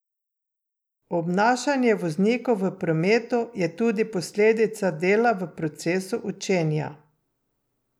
Obnašanje voznikov v prometu je tudi posledica dela v procesu učenja.